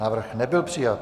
Návrh nebyl přijat.